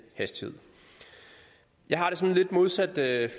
hastighed jeg har det sådan lidt modsat